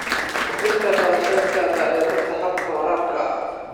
Kordhinta kharashka dayactirka hababka waraabka.